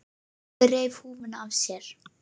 Jói reif húfuna af sér.